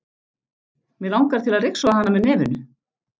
Mig langar til að ryksuga hana með nefinu.